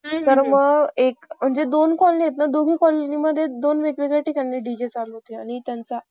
तर म. दोन कॉलनी आहेत ना आणि मी दोन वेगवेगळ्या ठिकणी डी. जे चालू होते आणि म त्यांचा